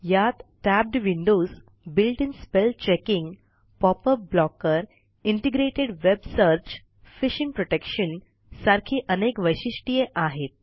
यात tabbed windows built in spell checking pop up blocker integrated web search phishing protection सारखी अनेक वैशिष्ट्ये आहेत